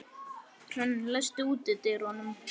Hrönn, læstu útidyrunum.